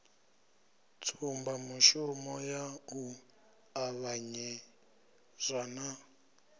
tsumbamushumo ya u ṱavhanyezwa na